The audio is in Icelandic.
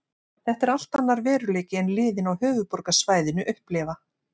Þetta er allt annar veruleiki en liðin á höfuðborgarsvæðinu upplifa.